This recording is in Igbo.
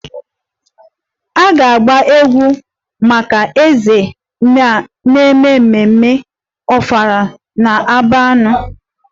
M ga-agba egwú maka eze na ememme ofala na-abịanụ